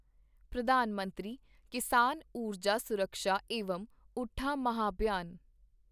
ਪ੍ਰਧਾਨ ਮੰਤਰੀ ਕਿਸਾਨ ਉਰਜਾ ਸੁਰਕਸ਼ਾ ਏਵਮ ਉੱਠਾਂ ਮਹਾਭਿਆਨ